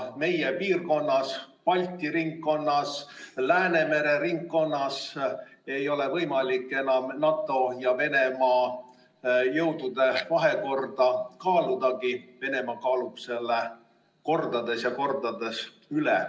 Meie piirkonnas, Balti ringkonnas, Läänemere ringkonnas ei ole võimalik enam NATO ja Venemaa jõudude vahekorda kaaludagi, sest Venemaa kaalub selle kordades ja kordades üle.